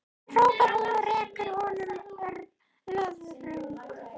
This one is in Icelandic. hrópar hún og rekur honum löðrung.